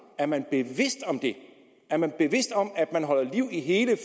er man bevidst om det er man bevidst om at man holder liv i hele